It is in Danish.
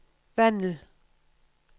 Vandel